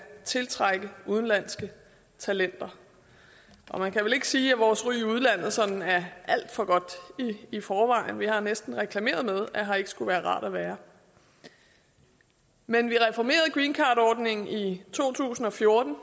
tiltrække udenlandske talenter og man kan vel ikke sige at vores ry i udlandet sådan er alt for godt i forvejen vi har næsten reklameret med at her ikke skulle være rart at være men vi reformerede greencardordningen i to tusind og fjorten og